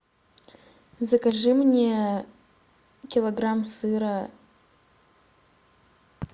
закажи мне килограмм сыра